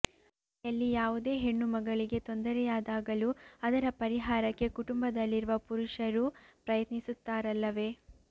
ಮನೆಯಲ್ಲಿ ಯಾವುದೇ ಹೆಣ್ಣುಮಗಳಿಗೆ ತೊಂದರೆಯಾದಾಗಲೂ ಅದರ ಪರಿಹಾರಕ್ಕೆ ಕುಟುಂಬದಲ್ಲಿರುವ ಪುರುಷರೂ ಪ್ರಯತ್ನಿಸುತ್ತಾರಲ್ಲವೇ